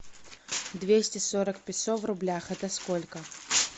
двести сорок песо в рублях это сколько